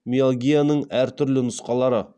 миалгияның әртүрлі нұсқалары